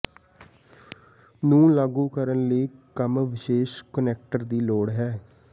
ਨੂੰ ਲਾਗੂ ਕਰਨ ਲਈ ਕੰਮ ਵਿਸ਼ੇਸ਼ ਕੁਨੈਕਟਰ ਦੀ ਲੋੜ ਹੈ